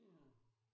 Det er der